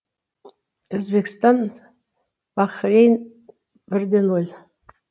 өзбекстан бахрейн бір де нөл